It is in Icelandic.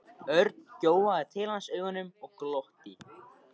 Örn gjóaði til hans augunum og glotti.